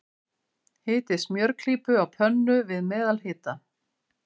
Hitið smjörklípu á pönnu, við meðalhita.